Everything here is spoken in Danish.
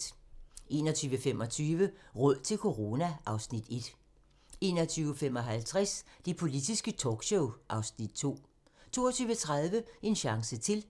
21:25: Råd til corona (Afs. 1) 21:55: Det politiske talkshow (Afs. 2) 22:30: En chance til